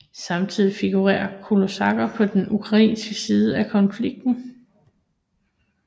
Samtidig figurerer kosakker på den ukrainske side af konflikten